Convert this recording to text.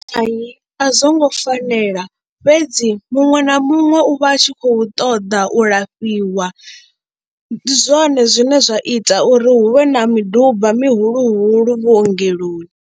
Hai a zwo ngo fanela fhedzi muṅwe na muṅwe u vha a tshi khou ṱoḓa u lafhiwa, ndi zwone zwine zwa ita uri hu vhe na miduba mihulu huhulu vhuongeloni.